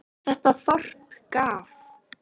Þetta þorp gaf